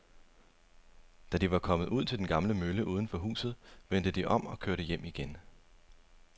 Da de var kommet ud til den gamle mølle uden for byen, vendte de om og kørte hjem igen.